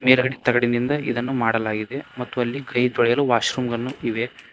ಮೇಲ್ಗಡೆ ತಗಡಿನಿಂದ ಇದನ್ನು ಮಾಡಲಾಗಿದೆ ಮತ್ತು ಅಲ್ಲಿ ಕೈ ತೊಳೆಯಲು ವಾಶ್ ರೂಮನ್ನು ಇವೆ.